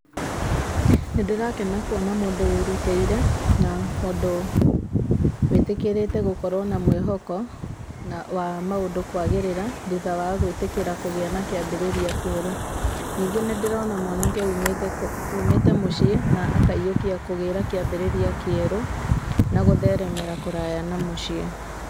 Nĩ ndĩrakena kuona mũndũ wĩrutĩire, na mũndũ wĩtĩkĩrĩte gũkorwo na mwĩhoko wa maũndũ kwagĩrĩra, thutha wa gwĩtĩkĩra kũgĩa na kĩambĩrĩria kĩerũ. Ningĩ nĩ ndĩrona mwanake ũmĩte mũciĩ, na akaiyũkia kũgĩa na kĩambĩrĩria kĩerũ, na gũtheremera kũraya na mũciĩ.